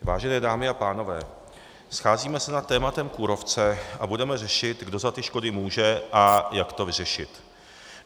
Vážené dámy a pánové, scházíme se nad tématem kůrovce a budeme řešit, kdo za ty škody může a jak to vyřešit.